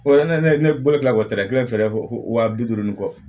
Fɔlɔ yanni ne bolo ka bɔ tɛrɛ kelen fila fɔ waa bi duuru ni kɔ